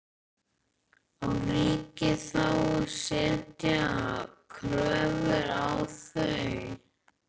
Á ríkið þá að setja kröfur á þau?